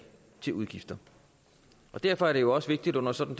til udgifter derfor er det også vigtigt under sådan